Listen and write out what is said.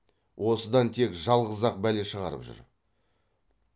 осыдан тек жалғыз ақ бәле шығарып жүр